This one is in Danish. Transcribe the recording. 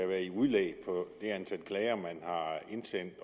være i udlæg på det antal klager man har indsendt